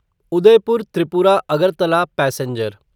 Udaipur Tripura Agartala passenger